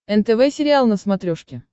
нтв сериал на смотрешке